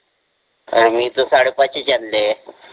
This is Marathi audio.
पण मि त साडे पाचच आणले आहे